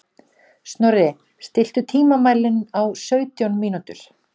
Snorri, stilltu tímamælinn á sautján mínútur.